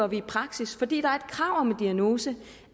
vi i praksis fordi der er et krav om en diagnose